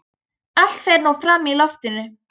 Allt fer nú fram í loftinu.